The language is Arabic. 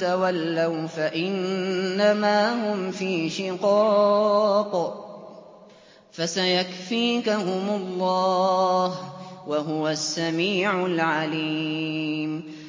تَوَلَّوْا فَإِنَّمَا هُمْ فِي شِقَاقٍ ۖ فَسَيَكْفِيكَهُمُ اللَّهُ ۚ وَهُوَ السَّمِيعُ الْعَلِيمُ